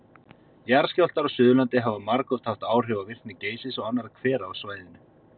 Jarðskjálftar á Suðurlandi hafa margoft haft áhrif á virkni Geysis og annarra hvera á svæðinu.